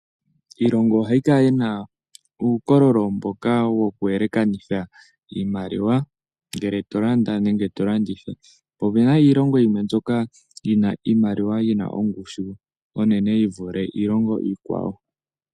Iilongo ohayi kala yina uukololo mboka wo ku elekanitha iimaliwa ngele to landa nenge to landitha. Opuna iilongo yimwe mbyoka yi na iimaliwa yi na ongushu onene yi vule iilongo iikwawo.